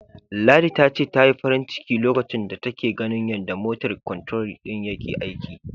Ladi ta ce, ta yi farin ciki lokacin da take ganin yanda "motor control" din yake aiki.